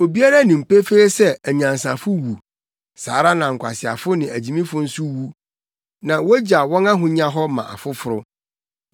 Obiara nim pefee sɛ anyansafo wu; saa ara na nkwaseafo ne agyimifo nso wu, na wogyaw wɔn ahonya hɔ ma afoforo.